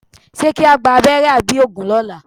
Ṣé kí á gba abẹ́rẹ́ àbí òògùn lọ́la?